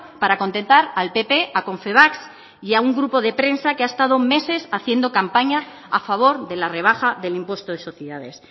para contentar al pp a confebask y a un grupo de prensa que ha estado meses haciendo campaña a favor de la rebaja del impuesto de sociedades